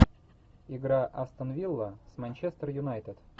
игра астон вилла с манчестер юнайтед